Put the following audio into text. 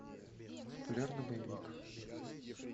популярный боевик